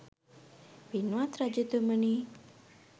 පින්වත් රජතුමනි